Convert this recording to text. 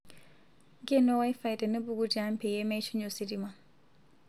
ngeno wifi tenipuku tiang peyie meishunye ositima